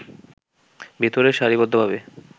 ভেতরে সারি বদ্ধ ভাবে